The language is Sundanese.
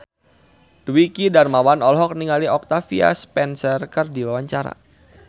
Dwiki Darmawan olohok ningali Octavia Spencer keur diwawancara